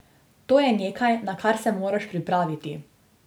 To je nekaj, na kar se moraš pripraviti.